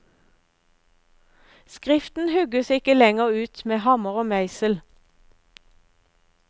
Skriften hugges ikke lenger ut med hammer og meisel.